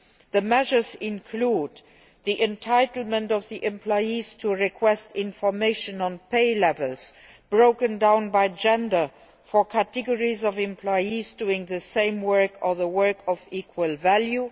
The measures include the entitlement of employees to request information on levels of pay broken down by gender for categories of employees doing the same work or work of equal value